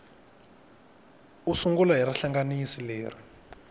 u sungula hi rihlanganisi leri